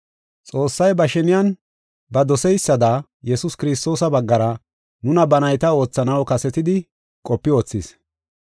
Xoossay ba sheniyan ba dosidaysada Yesuus Kiristoosa baggara nuna ba nayta oothanaw kasetidi qopi wothis.